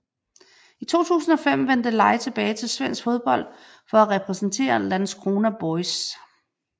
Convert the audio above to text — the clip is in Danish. I 2005 vendte Lai tilbage til svensk fodbold for at repræsentere Landskrona BoIS